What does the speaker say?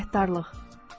Minnətdarlıq.